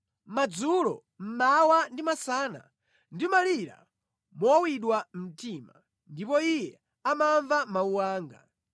Madzulo, mmawa ndi masana ndimalira mowawidwa mtima, ndipo Iye amamva mawu anga.